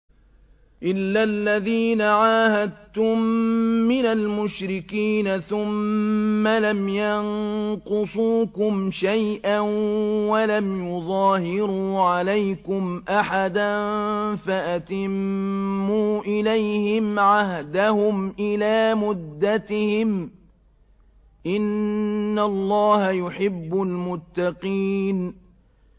إِلَّا الَّذِينَ عَاهَدتُّم مِّنَ الْمُشْرِكِينَ ثُمَّ لَمْ يَنقُصُوكُمْ شَيْئًا وَلَمْ يُظَاهِرُوا عَلَيْكُمْ أَحَدًا فَأَتِمُّوا إِلَيْهِمْ عَهْدَهُمْ إِلَىٰ مُدَّتِهِمْ ۚ إِنَّ اللَّهَ يُحِبُّ الْمُتَّقِينَ